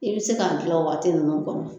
I bi se ka gilan o waati ninnu kɔnɔ.